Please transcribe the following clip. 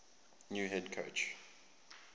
new head coach